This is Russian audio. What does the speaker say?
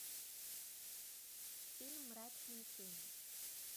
фильм мрачные тени